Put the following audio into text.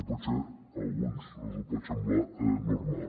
potser a alguns els hi pot semblar normal